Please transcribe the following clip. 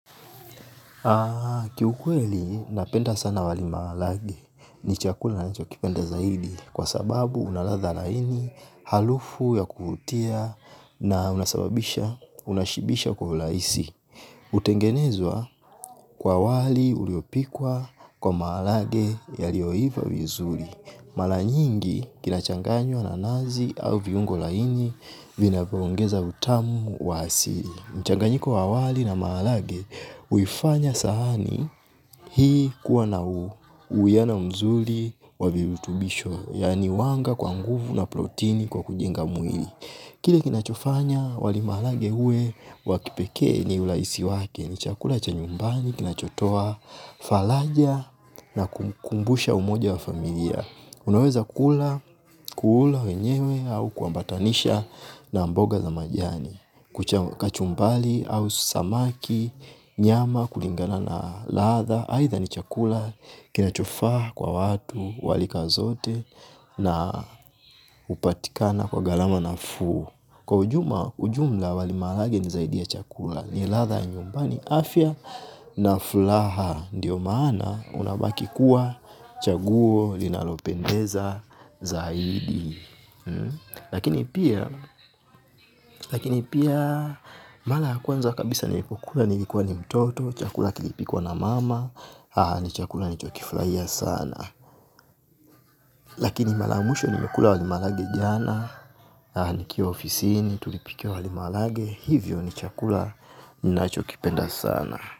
Kiukweli napenda sana wali maharage ni chakula ninachokipenda zaidi kwa sababu una ladha laini, harufu ya kuvutia na unasababisha unashibisha kwa urahisi. Hutengenezwa kwa wali uliopikwa kwa maharage yalioiva vizuri. Mara nyingi kinachanganywa na nazi au viungo laini vinavyoongeza utamu wa asili. Mchanganyiko wa wali na maharage, huifanya sahani hii kuwa na uwiano mzuri wa virutubisho, yaani wanga kwa nguvu na protini kwa kujinga mwili. Kile kinachofanya, wali maharage uwe, wa kipeke ni urahisi wake, ni chakula cha nyumbani, kinachotoa, faraja na kukumbusha umoja wa familia. Unaweza kula kuula wenyewe au kuambatanisha kwa mboga za majani. Kuchamu kachumbari au samaki, nyama, kulingana na ladha. Aidha ni chakula kinachofaa kwa watu wa rika zote na hupatikana kwa gharama nafuu. Kwa ujuma, ujumla wali marahage ni zaidi ya chakula, ni ladha nyumbani afya na furaha, ndiyo maana unabaki kuwa chaguo linalopendeza zaidi. Lakini pia mara ya kwanza kabisa nilipokula nilikuwa ni mtoto chakula kilipikwa na mama ni chaka nilichofurahia sana. Lakini mara mwisho nimekula wali maharage jana. Nikiwa ofisini tulipikiwa wali maharage. Hivyo ni chakula ninachokipenda sana.